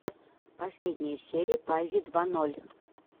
последняя серия бази два ноль